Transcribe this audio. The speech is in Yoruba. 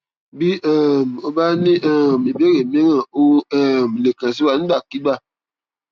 bí um o bá ní um ìbéèrè míràn o o um lè kàn sí wa nígbàkigbà